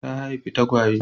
Ta haifi tagwaye.